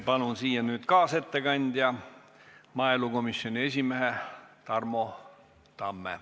Palun kaasettekandjaks kõnetooli maaelukomisjoni esimehe Tarmo Tamme.